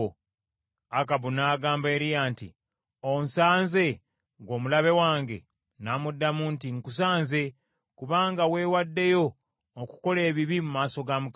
Akabu n’agamba Eriya nti, “Onsanze, ggwe omulabe wange!” N’amuddamu nti, “Nkusanze, kubanga weewaddeyo okukola ebibi mu maaso ga Mukama .